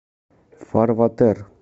фарватер